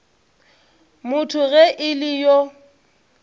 motho ge e le yo